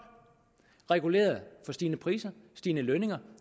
reguleret for stigende priser stigende lønninger